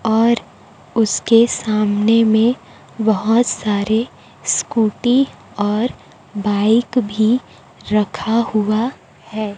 और उसके सामने में बोहोत सारे स्कूटी और बाइक भी रखा हुआ है।